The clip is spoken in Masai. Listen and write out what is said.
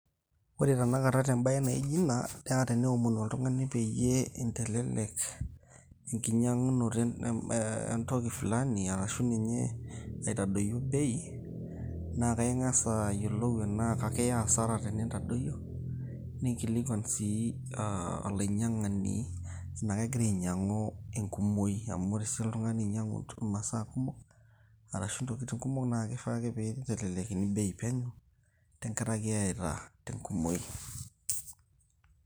Ore tenakata tembaye naa ijo ina, naa teneomonu oltung'ani peyie intelelek enkiny'ang'unoto eeh entoki flani arashu ninye aitadoyio bei naa akaing'as ayiolou enaa kakiya asara tenintadoyio ninkilikuan sii aa olainy'iang'ani enaa kegira ainy'iang'u enkumoi amu ore sii oltung'ani oiny'iang'u imasaa kumok arashu intoking' kumok naa kifaa ake peyie itelelikakini bei penyo tenkaraki eyaita te enkumoi.